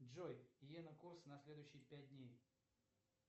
джой йена курс на следующие пять дней